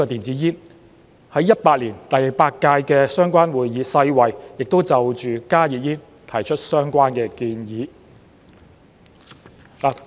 在2018年第八屆的相關會議上，世衞亦就加熱煙提出相關的建議。